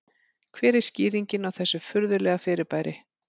Hver er skýringin á þessu furðulega fyrirbæri?